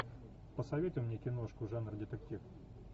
посоветуй мне киношку жанр детектив